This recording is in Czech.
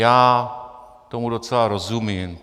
Já tomu docela rozumím.